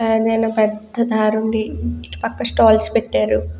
పెద్ద దారుండి ఇటు పక్క స్టాల్ల్స్ పెట్టారు.